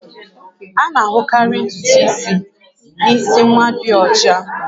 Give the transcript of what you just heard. A na-ahụkarị ntutu isi n'isi nwa ndị ọcha